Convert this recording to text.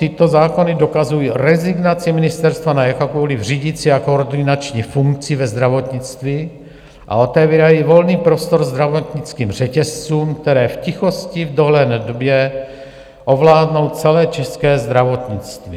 Tyto zákony dokazují rezignaci ministerstva na jakoukoli řídící a koordinační funkci ve zdravotnictví a otevírají volný prostor zdravotnickým řetězcům, které v tichosti v dohledné době ovládnou celé české zdravotnictví.